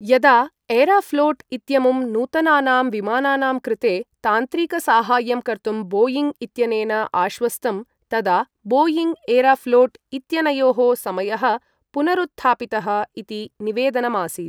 यदा एराफ्लोट् इत्यमुं नूतनानां विमानानां कृते तान्त्रिकसाहाय्यं कर्तुम् बोयिङ् इत्यनेन आश्वस्तं तदा बोयिङ् एरॉफ्लोट् इत्यनयोः समयः पुनरुत्थापितः इति निवेदनमासीत्।